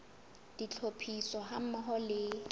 le tlhophiso ha mmoho le